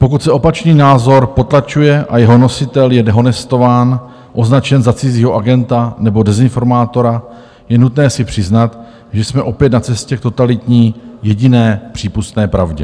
Pokud se opačný názor potlačuje a jeho nositel je dehonestován, označen za cizího agenta nebo dezinformátora, je nutné si přiznat, že jsme opět na cestě k totalitní, jediné přípustné pravdě.